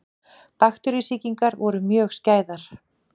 Bakteríusýkingar voru mjög skæðar.